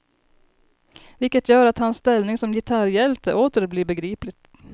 Vilket gör att hans ställning som gitarrhjälte åter blir begriplig.